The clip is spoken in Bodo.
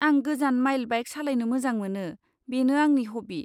आं गोजान माइल बाइक सालायनो मोजां मोनो, बेनि आंनि हब्बि।